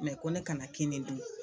ko ne kana kinin dun